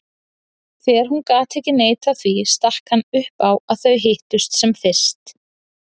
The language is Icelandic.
Þegar hún gat ekki neitað því stakk hann upp á að þau hittust sem fyrst.